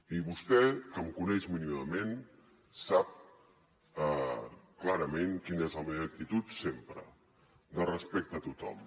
i vostè que em coneix mínimament sap clarament quina és la meva actitud sempre de respecte a tothom